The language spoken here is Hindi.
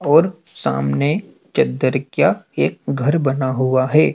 और सामने चद्दर क्या एक घर बना हुआ है।